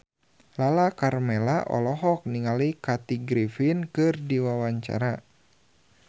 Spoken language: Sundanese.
Lala Karmela olohok ningali Kathy Griffin keur diwawancara